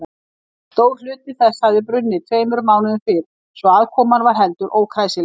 Stór hluti þess hafði brunnið tveimur mánuðum fyrr, svo aðkoman var heldur ókræsileg.